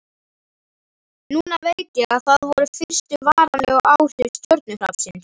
Núna veit ég að það voru fyrstu varanlegu áhrif stjörnuhrapsins.